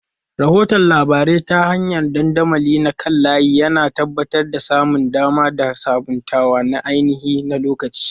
Rahoton labarai ta hanyar dandamali na kan layi, yana tabbatar da samun dama da sabuntawa na ainihin-lokaci.